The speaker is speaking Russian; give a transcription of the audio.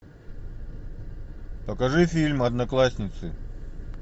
покажи фильм одноклассницы